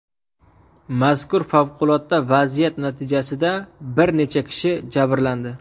Mazkur favqulodda vaziyat natijasida bir necha kishi jabrlandi.